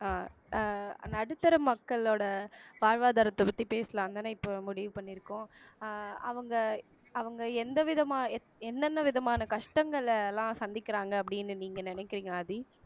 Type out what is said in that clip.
அஹ் அஹ் நடுத்தர மக்களோட வாழ்வாதாரத்தை பத்தி பேசலாம் தானே இப்ப முடிவு பண்ணியிருக்கோம் அஹ் அவங்க அவங்க எந்த விதமா என்னென்ன விதமான கஷ்டங்களெல்லாம் சந்திக்கிறாங்க அப்படீன்னு நீங்க நினைக்கிறீங்க ஆதி